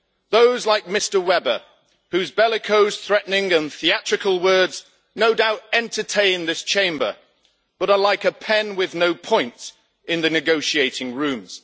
Those like Mr Weber, whose bellicose, threatening and theatrical words no doubt entertain this Chamber but are like a pen with no point in the negotiating rooms.